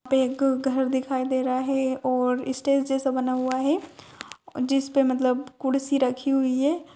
यहाँ पे एक घर दिखाई दे रहा है और स्टेज जैसा बना हुआ है जिसपे मतलब कुर्सी रखी हुई है।